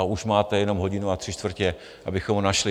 A už máte jenom hodinu a tři čtvrtě, abychom ho našli.